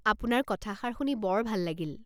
আপোনাৰ কথাষাৰ শুনি বৰ ভাল লাগিল।